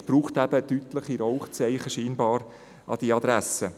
Scheinbar braucht es deutliche Rauchzeichen an diese Adresse.